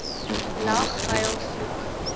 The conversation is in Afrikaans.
lag huil vloek